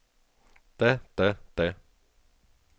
da da da